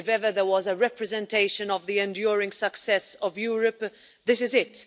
If ever there was a representation of the enduring success of Europe, this is it.